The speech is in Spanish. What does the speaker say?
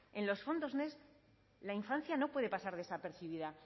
en los fondos next la infancia no puede pasar desapercibida